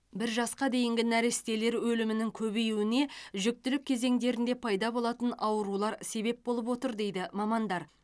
бір жасқа дейінгі нәрестелер өлімінің көбеюіне жүктілік кезеңдерінде пайда болатын аурулар себеп болып отыр дейді мамандар